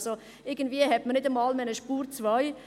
Also: Irgendwie hat man nicht einmal mehr eine «Spur 2».